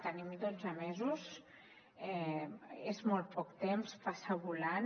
tenim dotze mesos és molt poc temps passa volant